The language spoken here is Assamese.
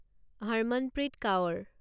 হৰমনপ্ৰীত কাউৰ